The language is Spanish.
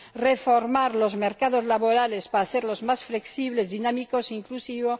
reformar los mercados laborales para hacerlos más flexibles, dinámicos e inclusivos